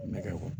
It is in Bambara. Nɛgɛ kɔrɔ